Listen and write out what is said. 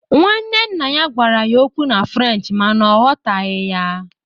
Nwanne nna ya gwara ya okwu na French mana ọ ghọtaghị ya